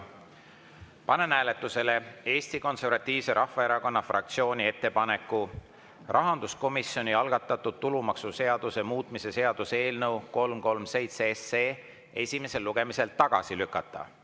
Panen hääletusele Eesti Konservatiivse Rahvaerakonna fraktsiooni ettepaneku rahanduskomisjoni algatatud tulumaksuseaduse muutmise seaduse eelnõu 337 esimesel lugemisel tagasi lükata.